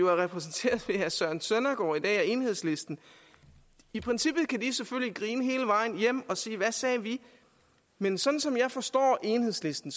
er repræsenteret ved herre søren søndergaard og enhedslisten i princippet kan de selvfølgelig grine hele vejen hjem og sige hvad sagde vi men sådan som jeg forstår enhedslisten